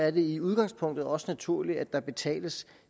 i udgangspunktet også naturligt at der betales